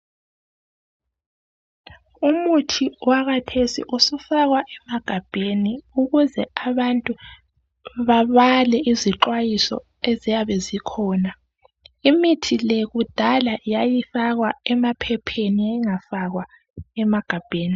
Umuthi owakhathesi usufakwa emagabheni ukuze abantu babala izixwayiso eziya zikhona. Imithi le kudala yayifakwa emaphepheni yayingafakwa emagabheni.